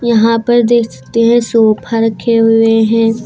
यहां पर देख सकते हैं सोफा रखे हुए हैं।